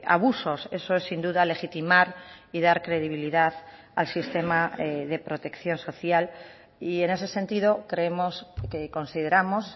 abusos eso es sin duda legitimar y dar credibilidad al sistema de protección social y en ese sentido creemos que consideramos